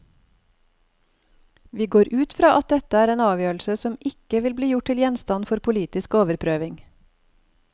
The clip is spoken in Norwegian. Vi går ut fra at dette er en avgjørelse som ikke vil bli gjort til gjenstand for politisk overprøving.